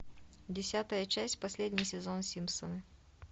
десятая часть последний сезон симпсоны